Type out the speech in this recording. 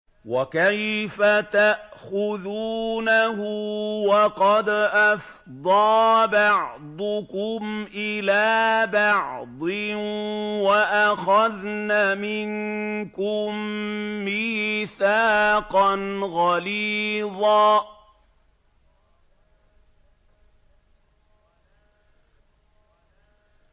وَكَيْفَ تَأْخُذُونَهُ وَقَدْ أَفْضَىٰ بَعْضُكُمْ إِلَىٰ بَعْضٍ وَأَخَذْنَ مِنكُم مِّيثَاقًا غَلِيظًا